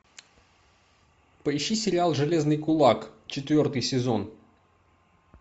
поищи сериал железный кулак четвертый сезон